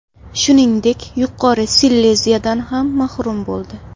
Shuningdek, Yuqori Sileziyadan ham mahrum bo‘ldi.